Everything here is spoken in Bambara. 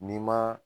N'i ma